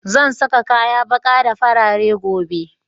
Zan sa kaya ɓaƙa da farare gobe